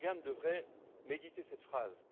Erdogan devrait méditer cette phrase.